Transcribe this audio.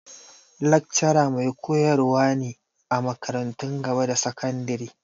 Lakcara mai koyar wa ne a makarantun gaba da sakandari.